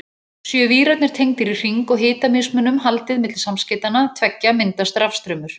Séu vírarnir tengdir í hring og hitamismun haldið milli samskeytanna tveggja myndast rafstraumur.